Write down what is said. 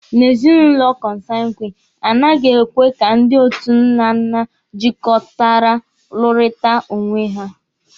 Na ezinụlọ kọnsangwini, a naghị ekwe ka ndị otu nnanna jịkọtara lụrịta onwe ha.